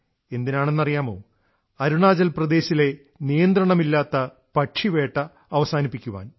എന്തിനാണെന്നറിയുമോ അരുണാചൽ പ്രദേശിലെ നിയന്ത്രണമില്ലാത്ത പക്ഷിവേട്ട അവസാനിപ്പിക്കാൻ